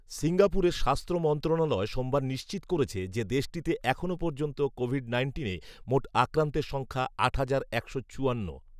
সিঙ্গাপুরের স্বাস্থ্য মন্ত্রণালয় সোমবার নিশ্চিত করেছে যে, দেশটিতে এখন পর্যন্ত কোভিড নাইন্টিনের মোট আক্রান্তের সংখ্যা আট হাজার একশো চুয়ান্ন